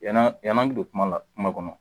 Yanaa yan'an bi don kuma la kuma kɔnɔ